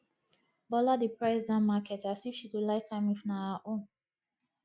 bola dey price down market as if she go like am if na her own